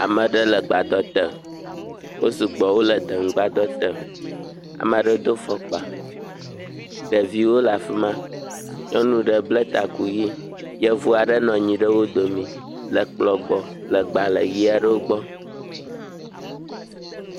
Ame aɖe le gbadɔ te wosugbɔ wole deŋu gbadɔ te, ɖeviwo le afi ma, nyɔnu aɖe bla taku ʋi yevu aɖe nɔ wo domii le kplɔ gbɔ le gbalẽ ʋi aɖewo gbɔ.